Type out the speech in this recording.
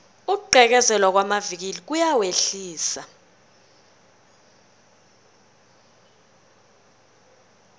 ukugqekezelwa kwamavikili kuyawehlisa